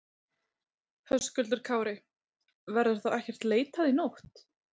Höskuldur Kári: Verður þá ekkert leitað í nótt?